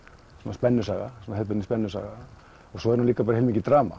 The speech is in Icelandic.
spennusaga hefðbundin spennusaga svo er hún líka bara heilmikið drama